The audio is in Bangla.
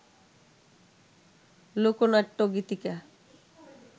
লোকনাট্য, গীতিকা